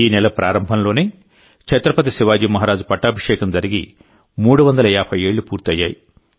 ఈ నెల ప్రారంభంలోనే ఛత్రపతి శివాజీ మహారాజ్ పట్టాభిషేకం జరిగి 350 ఏళ్లు పూర్తయ్యాయి